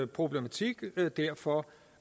problematik derfor